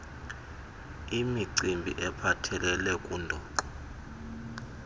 imicimbi ephathelele kundoqo